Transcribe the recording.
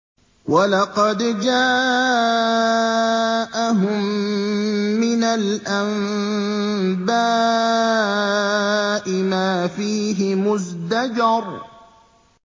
وَلَقَدْ جَاءَهُم مِّنَ الْأَنبَاءِ مَا فِيهِ مُزْدَجَرٌ